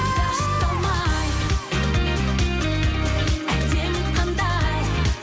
тыңдашы талмай әдемі қандай